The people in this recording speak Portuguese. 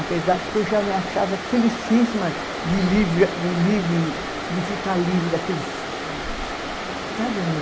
Apesar porque eu já me achava felicíssima de livre, de livre, de ficar livre daqueles Sabe?